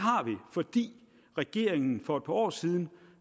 fordi regeringen for et par år siden